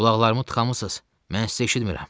Qulaqlarımı tıxamısınız, mən sizi eşitmirəm.